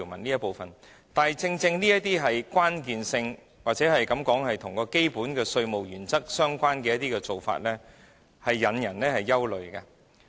但是，正因為這些條文具關鍵性，又或可視之為與基本稅務原則相關的做法，故此才引人憂慮。